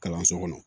Kalanso kɔnɔ